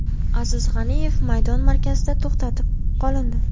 Aziz G‘aniyev maydon markazida to‘xtatib qolindi.